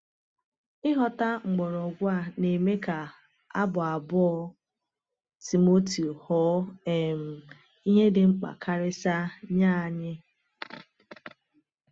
Ịghọta mgbọrọgwụ a na-eme ka Abụ abụọ Timoteo ghọọ um ihe dị mkpa karịsịa nye anyị.